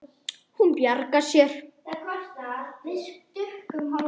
Hún bjargar sér.